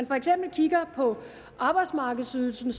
for eksempel kigger på arbejdsmarkedsydelsen